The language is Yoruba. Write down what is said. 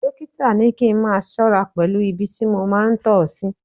Dọ́kítà ní kí n máa ṣọ́ra pẹ̀lú ibi tí mo máa ń tọ sí.